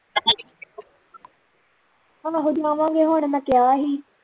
ਹੁਣ ਮੈਂ ਕਿਹਾ ਹੀ